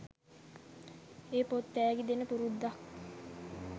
ඒ පොත් තෑගි දෙන පුරුද්දක්